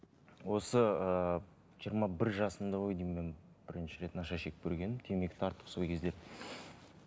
осы ыыы жиырма бір жасымда ғой деймін мен бірінші рет наша шегіп көргенім темекі тартып сол кезде